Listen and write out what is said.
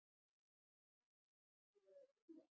Hafsteinn: Búið að vera huggulegt?